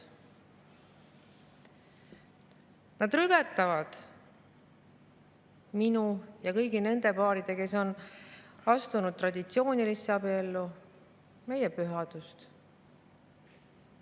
rüvetavad minu ja kõigi nende paaride, kes on astunud traditsioonilisse abiellu, pühadust.